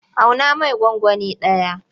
Auna mai gwangwani ɗaya.